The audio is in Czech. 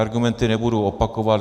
Argumenty nebudu opakovat.